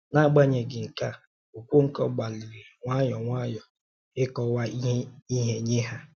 N’agbanyeghị nke a, Okonkwo gbalịrị nwayọ nwayọ ịkọwa ihe nye ha.